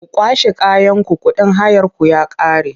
Ku kwashe kayanku kuɗin hayarku ya ƙare!